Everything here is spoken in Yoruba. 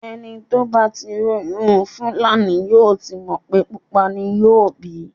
Ẹni bá tí róyún Fúlàní yóò ti mọ̀ pé pupa ni yóò bí.